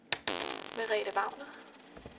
Merete Wagner